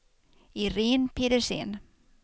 Iréne Pedersen